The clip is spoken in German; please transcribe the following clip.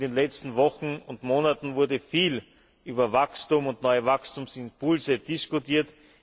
In den letzten Wochen und Monaten wurde viel über Wachstum und neue Wachstumsimpulse diskutiert.